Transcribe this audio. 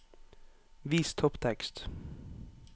Vis topptekst